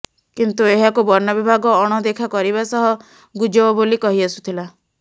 କିନ୍ତୁ ଏହାକୁ ବନବିଭାଗ ଅଣଦେଖା କରିବା ସହ ଗୁଜବ ବୋଲି କହିଆସୁଥିଲା